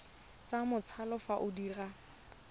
sa matsalo fa o dira